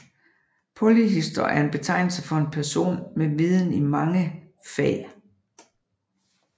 Polyhistor er en betegnelse for en person med viden i mange fag